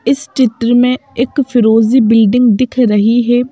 इस चित्र में एक फिरोजी बिल्डिंग दिख रही है।